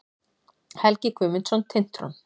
Helgi Guðmundsson, Tintron.